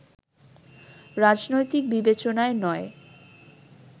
রাজনৈতিক বিবেচনায় নয়